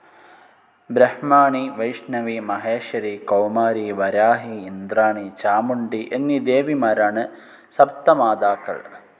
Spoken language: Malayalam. ബ്രഹ്മാണി, വൈഷ്ണവി, മഹേശ്വരി, കൗമാരി, വരാഹി, ഇന്ദ്രാണി, ചാമുണ്ഡി എന്നീ ദേവിമാരാണ്‌ സപ്തമാതാക്കൾ.